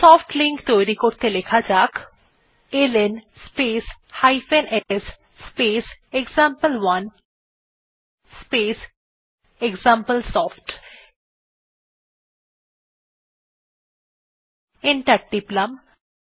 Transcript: soft link তৈরী করতে লেখা যাক L N space s space example one space example soft enter টিপলাম